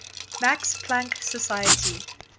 max planck society